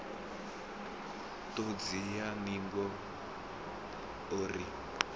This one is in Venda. ṱhodzi ya ningo o ri